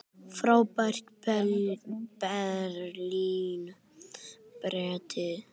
Frá Berlín breiddi